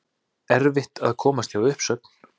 Erfitt að komast hjá uppsögnum